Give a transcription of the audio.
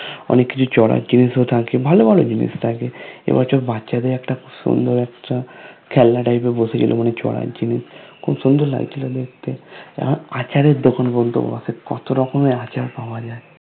অনেক কিছু চড়ার জিনিসও থাকে ভালো ভালো জিনিস থাকে এবছর বাচ্ছা দেড় একটা সুন্দর একটা খেলনা type এর বসেছিল মানে চড়ার জিনিস খুব সুন্দর লাগছিল দেখতে এখন আচারের দোকান পর্যন্ত বসে, কত রকমের আচার পাওয়া যায় ।